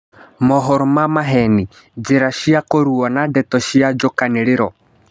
Mohoro ma maheni: Njĩ ra cia kũrũa na ndeto cia njũkanĩ rĩ ro.